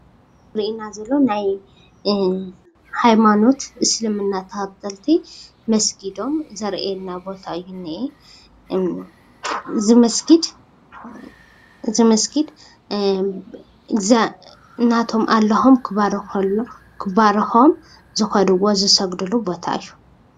እዚ ዘሪኤና ዘሎ ናይ ሃይማኖት እስልምና ተከተልቲ መስጊዶም ዘሪኤና ቦታ እዩ ዝንሄ እዚ መስጊድ ናቶም አላሆም ክባርኮም ዝከድዎ ዝስግድሉ ቦታ እዩ፡፡